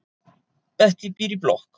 Bettý býr í blokk.